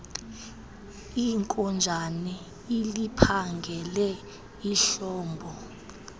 inkonjane iliphangele ihlobo